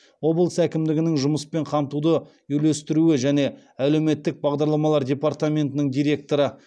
облыс әкімдігінің жұмыспен қамтуды үйлестіру және әлеуметтік бағдарламалар департаментінің директоры